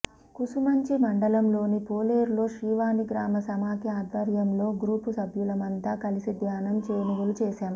కూసుమంచి మండలంలోని పాలేరులో శ్రీవాణి గ్రామ సమాఖ్య ఆధ్వర్యంలో గ్రూపు సభ్యులమంతా కలిసి ధాన్యం కొనుగోలు చేశాం